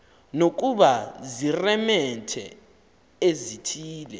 nokuba ziiremente ezithile